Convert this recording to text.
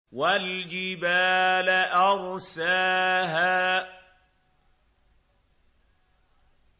وَالْجِبَالَ أَرْسَاهَا